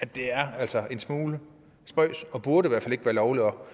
det er altså en smule spøjst og burde i hvert fald ikke være lovligt om